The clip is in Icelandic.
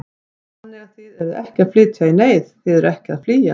Þannig að þið eruð ekki að flytja í neyð, þið eruð ekki að flýja?